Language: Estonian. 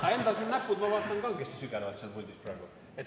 Aga endal sul näpud, ma vaatan, kangesti sügelevad seal puldis praegu.